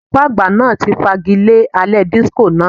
Olùkọ́ àgbà náà ti fagilé alẹ́ disco náà.